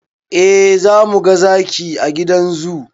Eh zamuga zaki a gidan zoo